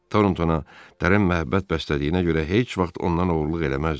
Torontona dərin məhəbbət bəslədiyinə görə heç vaxt ondan oğurluq eləməzdi.